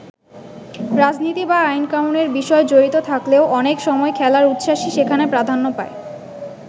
রাজনীতি বা আইন-কানুনের বিষয় জড়িত থাকলেও অনেক সময় খেলার উচ্ছ্বাসই সেখানে প্রাধান্য পায়।